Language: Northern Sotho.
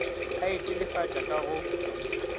a e telefatša ka go